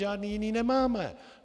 Žádné jiné nemáme.